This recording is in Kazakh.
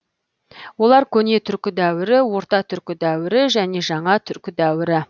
олар көне түркі дәуірі орта түркі дәуірі және жаңа түркі дәуірі